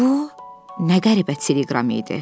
Bu nə qəribə teleqram idi?